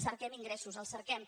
cerquem ingressos els cerquem